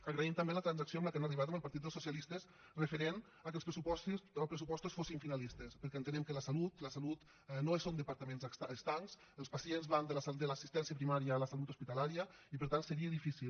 agraïm també la transacció a què han arribat amb el partit dels socialistes referent al fet que els pressupostos fossin finalistes perquè entenem que la salut no són departaments estancs els pacients van de l’assistència primària a la salut hospitalària i per tant seria difícil